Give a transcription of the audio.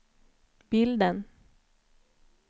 bilden